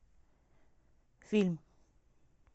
фильм